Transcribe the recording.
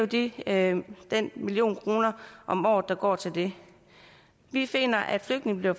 det er jo den million kroner om året der går til det vi finder at flygtninge